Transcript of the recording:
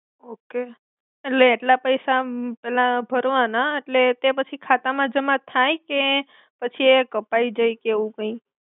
okay એટલે એટ્લા પૈસા આમ ના ભર્વાના એટ્લે તે પછી ખાતા મા જ્મા થાય કે પછી એ કપાઇ જાઈ કે એવુ કાઇ